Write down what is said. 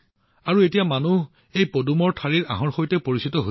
আৰু এতিয়া জনসাধাৰণ এই পদুমৰ আঁহৰ সৈতে পৰিচিত